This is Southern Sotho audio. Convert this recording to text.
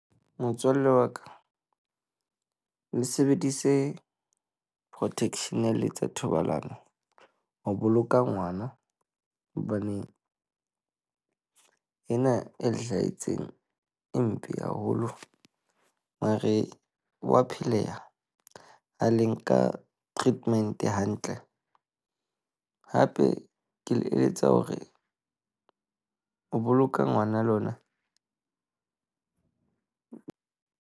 Motswalle wa ka, le sebedise protection ha le etsa thobalano ho boloka ngwana hobane ena e hlahetseng e mpe haholo. Mare ho a pheleha ha le nka treatment hantle. Hape ke le eletsa hore o boloka ngwana lona.